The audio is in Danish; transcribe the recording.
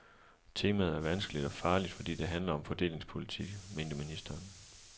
Temaet er vanskeligt og farligt, fordi det handler om fordelingspolitik, mente ministeren.